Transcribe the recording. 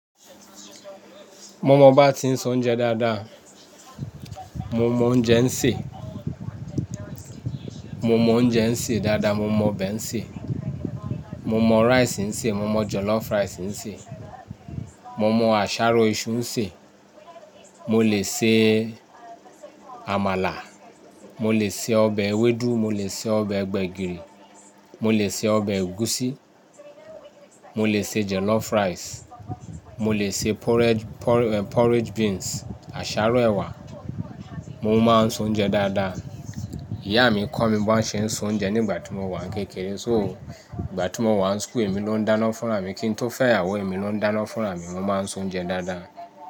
Mo mọ bá ti ń se oúnjẹ dáadáa. Mo mọ oúnjẹ ń sè. Mo mọ oúnjẹ ń sè dáadáa. Mo mọ ọbẹ̀ ń sè. Mo mọ rice ń sè. Mo mọ jollof rice ń sè. Mo mọ àṣáró iṣu sè. Mo lè ṣe àmàlà. Mo lè ṣe ọbẹ̀ ewédú. Mo lè ṣe ọbẹ̀ gbẹ̀gìrì. Mo lè ṣe ọbẹ̀ egusi. Mo lè ṣe jollof rice. Mo lè ṣe porridge, porridge beans, àsáró ẹwà. Mo máa ń se oúnjẹ dáadáa. Ìyá mi kọ́ mi bí wọ́n ṣe ń se oúnjẹ nígbà tí mo wà kékeré. So, ìgbà tí mo wà ní school, èmi ló ń dáná fún ra mi. Kí n tó fẹ́ ìyàwó, èmi ló ń dáná fún ra mi. Mo máa ń se oúnjẹ dáadáa.